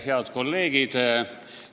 Head kolleegid!